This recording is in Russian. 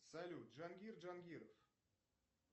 салют джангир джангиров